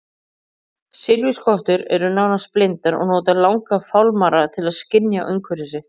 Silfurskottur eru nánast blindar og nota langa fálmara til að skynja umhverfi sitt.